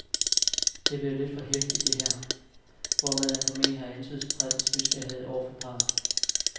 Det er blevet lidt for heftigt, det her, hvormed han formentlig har antydet til pressens nysgerrighed over for parret.